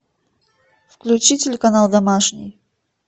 включи телеканал домашний